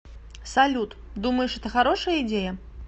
салют думаешь это хорошая идея